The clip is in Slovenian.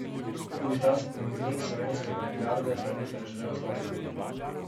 Tudi ta spomenik slovenske avantgarde pa ni preživel zlahka.